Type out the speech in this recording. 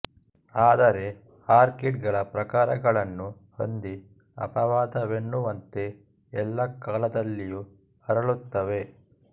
ಆದರೆ ಆರ್ಕೀಡ್ ಗಳ ಪ್ರಕಾರಗಳನ್ನು ಹೊಂದಿ ಅಪವಾದವೆನ್ನುವಂತೆ ಎಲ್ಲಾ ಕಾಲದಲ್ಲಿಯೂ ಅರಳುತ್ತವೆ